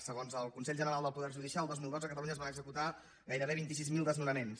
segons el consell general del poder judicial el dos mil dotze a catalunya es van executar gairebé vint sis mil desnonaments